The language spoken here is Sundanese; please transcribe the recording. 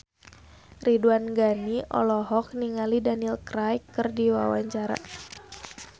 Ridwan Ghani olohok ningali Daniel Craig keur diwawancara